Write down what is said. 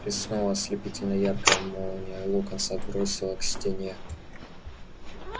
блеснула ослепительно яркая молния локонса отбросило к стене